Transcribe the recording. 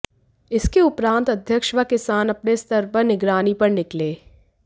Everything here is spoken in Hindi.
इसके उपरांत अध्यक्ष व किसान अपने स्तर पर निगरानी पर निकले